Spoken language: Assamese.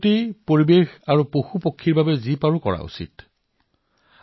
প্ৰকৃতি পৰিৱেশ জীৱজন্তু পক্ষীৰ বাবে কমবেছি প্ৰচেষ্টা আমি সকলোৱেই কৰিব লাগে